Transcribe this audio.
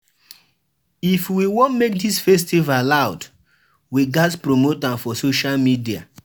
If we wan make dis festival loud, we ghas promote am for social media.